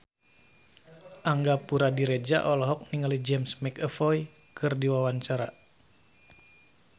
Angga Puradiredja olohok ningali James McAvoy keur diwawancara